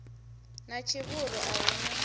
na tshivhuru a hu na